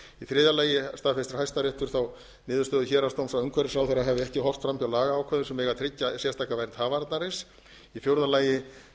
þriðja lagi staðfestir hæstiréttur þá niðurstöðu héraðsdóms að umhverfisráðherra hefði ekki horft framhjá lagaákvæðum sem tryggja eiga sérstaka vernd hafarnarins í fjórða lagi